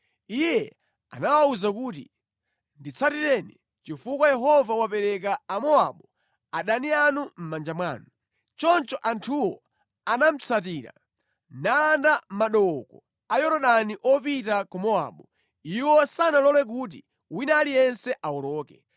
Iye anawawuza kuti, “Nditsatireni, chifukwa Yehova wapereka Amowabu, adani anu mʼmanja mwanu.” Choncho anthuwo anamutsatira, nalanda madooko a Yorodani opita ku Mowabu. Iwo sanalole kuti wina aliyense awoloke.